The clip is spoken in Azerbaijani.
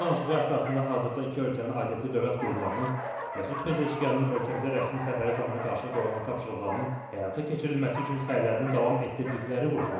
Telefon danışığı əsasında hazırda iki ölkənin aidiyyatı dövlət qurumlarının Məsud Pezeşkanın ölkəmizə rəsmi səfəri zamanı qarşıya qoyulan tapşırıqlarının həyata keçirilməsi üçün səylərini davam etdirdikləri vurğulanıb.